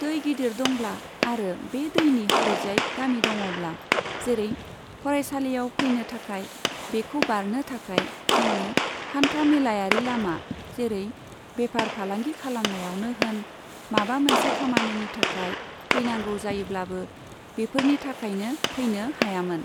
दै गिदिर दंब्ला आरो बे दैनि हरैजाय गामि दङब्ला, जेरै फरायसालियाव फैनाै थाखाय, बेखाै बारनाे थाखाय, जोंनो हान्था मेलायारि लामा, जेरै बेफार फालांगि खालामनायावनो होन, माबा मोनसे खामानिनि थाखाय फैनांगौ जायोब्लाबो बेफोरनि थाखायनो फैनाे हायामोन।